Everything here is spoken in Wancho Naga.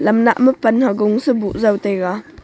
naa mup pan hagung se bujao taiga.